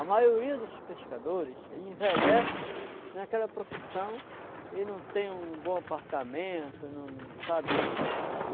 A maioria dos pescadores envelhece naquela profissão e não tem um bom apartamento, não... sabe?